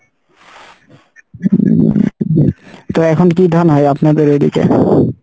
তো এখন কী ধান হয় আপনাদের ঐদিকে?